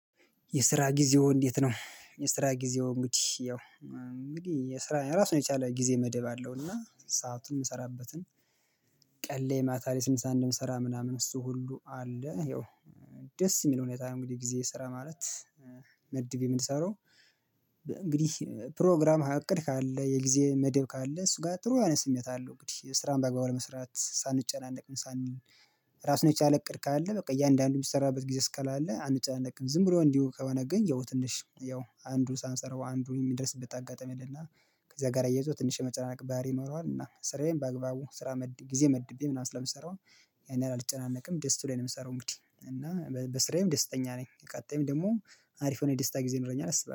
የስራ ጊዜዎ እንዴት ነው? የስራ ጊዜዎ እንግዲህ ያው እንግዲህ የስራ ራሱን የቻለ ጊዜ መደብ አለው እና ሰአቱን የምሰራበትን ቀን ላይ ማታ ላይ ስንት ሰዓት እንደምሰራ ምናምን እሱ ሁሉ አለ። ይኸው ደስ የሚለው ሁኔታ እንግዲህ ጊዜ ስራ ማለት መድቤ የምንሰራው። እንግዲህ ፕሮግራም አቅድ ካለ የጊዜ መደብ ካለ እሱ ጋር ጥሩ አይነት ስሜት አለው እንግዲህ ስራን በአግባቡ መስራት ሳንጨናነቅ ሳንል እራሱን የቻለ እቅድ ካለ አለ። በቃ እያንዳንዱን የምንሰራበት ጊዜ እስካላለ አንጨነቅም። ዝም ብሎ እንዲሁ ከሆነ ግን ያው ትንሽ ያው አንዱ ሳንሰራው አንዱ የሚደርስበት አጋጣሚ አለና ከዛ ጋር አያይዞ ትንሽ የመጨናነቅ ባህሪ ይኖረዋል። እና ስራዬን በአግባቡ ስራ መድቤ ምናምን ስለምሰራው ያንን ያህል አልጨናነቅም ደስ ብሎኝ ነው የምሰራው። እንግዲህ እና በስራዬም ደስተኛ ነኝ። ቀጣይም ደግሞ አሪፍ የሆነ ደስታ ጊዜ ይኖረኛል። አስባለሁ